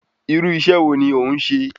Irú iṣẹ́ wo ni òún se?